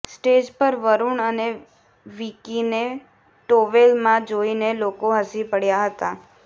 stage પર વરૂણ અને વિકીને ટોવેલમાં જોઈને લોકો હસી પડ્યા હતા